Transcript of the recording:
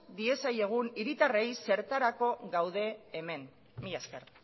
diezagun hiritarrei zertarako gauden hemen mila esker